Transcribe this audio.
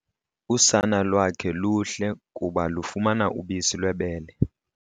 Usana lwakhe luhle kuba lufumana ubisi lwebele.